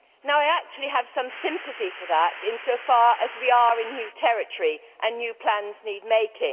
I actually have some sympathy for that, in so far as we are in new territory and new plans need to be made.